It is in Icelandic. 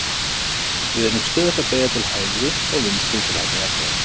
við erum stöðugt að beygja til hægri og vinstri til að halda jafnvægi